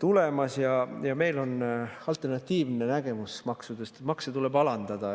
tulemas ja meil on alternatiivne nägemus maksudest: makse tuleb alandada.